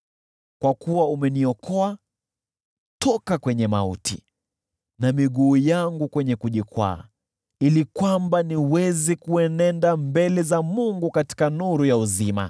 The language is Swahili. Kwa kuwa umeniokoa toka kwenye mauti na miguu yangu kwenye kujikwaa, ili niweze kuenenda mbele za Mungu katika nuru ya uzima.